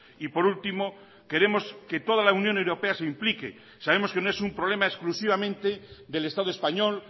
y por último queremos que toda la unión europea se implique sabemos que no es un problema exclusivamente del estado español